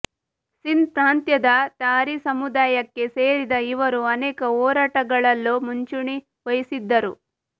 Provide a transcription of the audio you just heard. ಸಿಂಧ್ ಪ್ರಾಂತ್ಯದ ಥಾರಿ ಸಮುದಾಯಕ್ಕೆ ಸೇರಿದ ಇವರು ಅನೇಕ ಹೋರಾಟಗಳಲ್ಲೂ ಮುಂಚೂಣಿ ವಹಿಸಿದ್ದರು